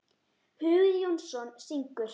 Hugi Jónsson syngur.